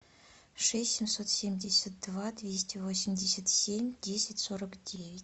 шесть семьсот семьдесят два двести восемьдесят семь десять сорок девять